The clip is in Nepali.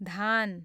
धान